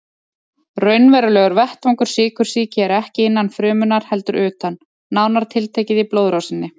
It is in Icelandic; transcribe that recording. Raunverulegur vettvangur sykursýki er ekki innan frumunnar heldur utan, nánar tiltekið í blóðrásinni.